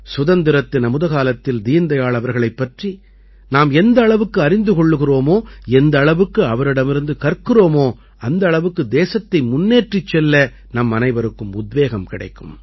சுதந்திரத்தின் அமுதகாலத்தில் தீன்தயாள் அவர்களைப் பற்றி நாம் எந்த அளவுக்கு அறிந்து கொள்கிறோமோ எந்த அளவுக்கு அவரிடமிருந்து கற்கிறோமோ அந்த அளவுக்கு தேசத்தை முன்னேற்றிச் செல்ல நம்மனைவருக்கும் உத்வேகம் கிடைக்கும்